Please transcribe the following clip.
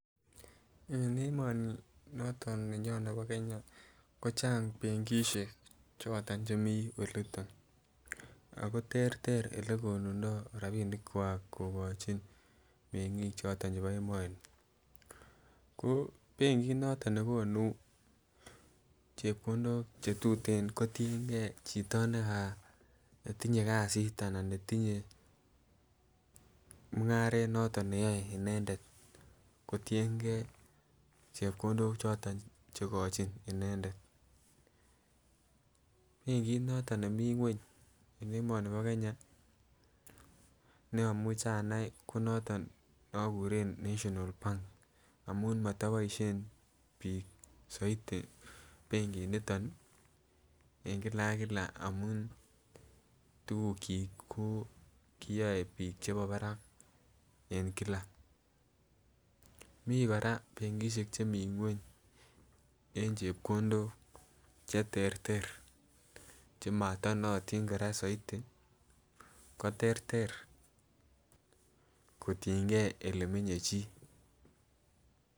En emoni noton nenyon nebo Kenya kochang benkishek choton chemii oliton ako terter olekonundo rabinik kwak. Kokochin mengik choton chebo emoni ko benki noton nekonu chepkondok chetuten kotuliyengee chito neka tinyenkasit anan netinye mungaret noton neyoe inendet kotiyengee chepkondok choton che ikochi inendet. Benkit noton nemii ngwony en emoni bo Kenya ne omuche anai ko moton ne omuche okure national Bank amun motoboishen bik soiti benkit niton nii en kila ak kila amun tukuk chiik ko koyoe bik chebo barak en kila, Mii Koraa benkishek chemii ngwony en chepkondok cheterter chemoto nootin Koraa soiti koterter kotiyen gee olemenye chii.